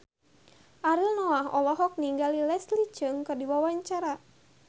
Ariel Noah olohok ningali Leslie Cheung keur diwawancara